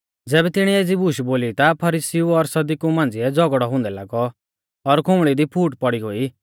ज़ैबै तिणीऐ एज़ी बूश बोली ता फरीसीउ और सदुकिऊ मांझ़िऐ झ़ौगड़ौ हुंदै लागौ और खुंबल़ी दी फूट पौड़ी गोई